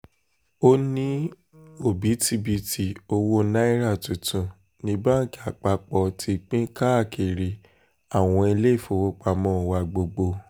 ó ní òbítíbitì owó náírà tuntun ní báńkì àpapọ̀ ti pín káàkiri àwọn iléèfowópamọ́ wa gbogbo